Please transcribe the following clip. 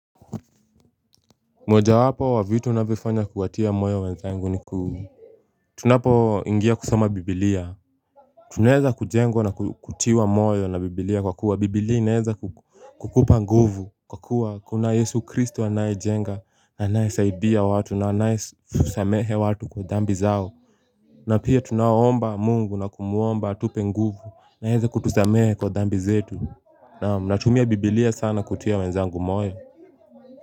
Mojawapo wa vitu navyofanya kuwatia moyo wenzangu ni Tunapo ingia kusoma biblia Tunaeza kujengwa na kutiwa moyo na biblia kwa kuwa biblia inaeza kukupa nguvu Kwa kuwa kuna yesu kristo anayejenga anayesaidia watu na anayesamehe watu kwa dhambi zao na pia tunaomba mungu na kumwomba atupe nguvu na aeze kutusamehe kwa dhambi zetu Naam natumia biblia sana kutia wenzangu moyo.